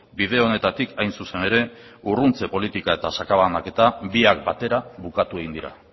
bide honetatik hain zuzen ere urruntze politikak eta sakabanaketa biak batera bukatu egin dira